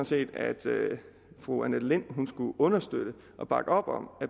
set at fru annette lind skulle støtte og bakke op om og